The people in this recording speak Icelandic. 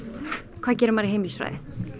hvað gerir maður í heimilisfræði